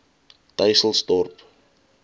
dysselsdorp